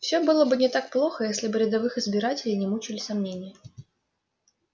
все было бы не так плохо если бы рядовых избирателей не мучили сомнения